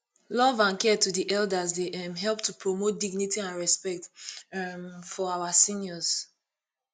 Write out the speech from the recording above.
love and care to di elders dey um help to promote dignity and respect um for our seniors